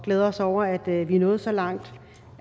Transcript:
glæder os over at vi er nået så langt